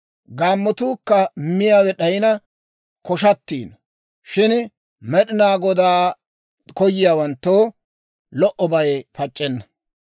Gaammotuukka miyaawe d'ayina koshshatiino; shin Med'inaa Godaa koyiyaawanttoo lo"obay pac'c'enna.